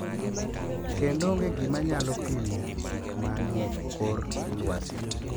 Kendo onge gima nyalo pimo gik ma ni e kor lwasi.